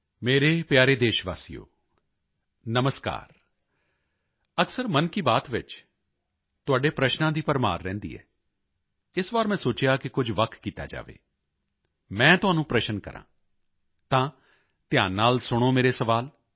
ਮੇਰੇ ਪਿਆਰੇ ਦੇਸ਼ਵਾਸੀਓ ਨਮਸਕਾਰ ਅਕਸਰ ਮਨ ਕੀ ਬਾਤ ਵਿੱਚ ਤੁਹਾਡੇ ਪ੍ਰਸ਼ਨਾਂ ਦੀ ਭਰਮਾਰ ਰਹਿੰਦੀ ਹੈ ਇਸ ਵਾਰ ਮੈਂ ਸੋਚਿਆ ਕਿ ਕੁਝ ਵੱਖ ਕੀਤਾ ਜਾਵੇ ਮੈਂ ਤੁਹਾਨੂੰ ਪ੍ਰਸ਼ਨ ਕਰਾਂ ਤਾਂ ਧਿਆਨ ਨਾਲ ਸੁਣੋ ਮੇਰੇ ਸਵਾਲ